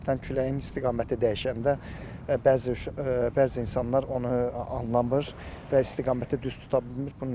Qəflətən küləyin istiqaməti dəyişəndə bəzi bəzi insanlar onu anlamır və istiqaməti düz tuta bilmir.